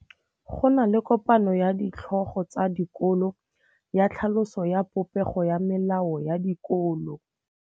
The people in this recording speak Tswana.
Go na le kopanô ya ditlhogo tsa dikolo ya tlhaloso ya popêgô ya melao ya dikolo.